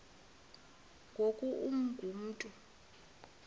ngoku ungu mntu